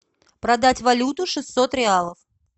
продать валюту шестьсот реалов